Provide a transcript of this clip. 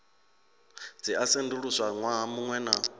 dzi a sedzuluswa ṅwaha muṅwe